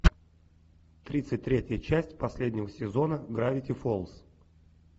тридцать третья часть последнего сезона гравити фолз